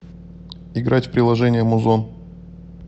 играть в приложение музон